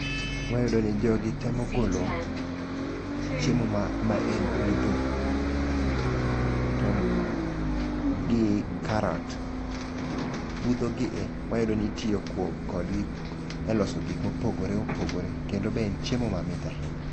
Wayudo ni jogi temo golo chiemo ma maen budho. To gi karat, budho gi e wayudo ni itiyo kuom kodgi e loso gik mopogore opogore. Kendo be en chiemo mamit ahinya.